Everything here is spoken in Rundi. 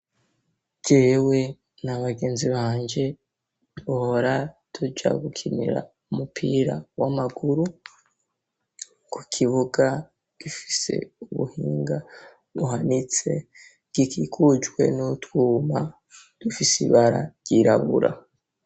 Jewe na bagenzi banje duhora tuja gukinira umupira w'amaguru kukibuga gifise ubuhinga buhanitse gikikujwe n'utwuma dufis'ibara ryirabura